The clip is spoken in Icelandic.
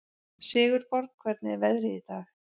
Sigurborg, hvernig er veðrið í dag?